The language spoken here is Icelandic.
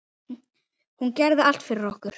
Hún gerði allt fyrir okkur.